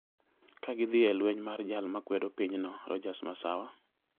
ka gidhi e lweny mar jal ma kwedo pinyno, Rodgers Masawa